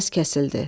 Səs kəsildi.